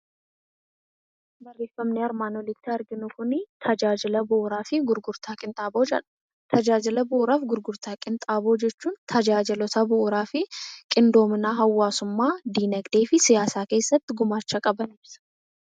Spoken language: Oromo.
Barreeffamni armaan olitti arginu kun tajaajila bu'uuraa fi gurgurtaa qinxaaboo jedha. Tajaajila bu'uuraa fi gurgurtaa qinxaaboo jechuun tajaajila bu'uuraa fi qindoomina hawaasummaa dinagdee fi siyaasa keessatti gumaacha qaban ibsa.